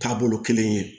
Taabolo kelen ye